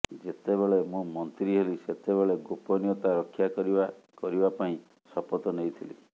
ଯେତେବେଳେ ମୁଁ ମନ୍ତ୍ରୀ ହେଲି ସେତେବେଳେ ଗୋପନୀୟତା ରକ୍ଷା କରିବା କରିବା ପାଇଁ ଶପଥ ନେଇଥିଲି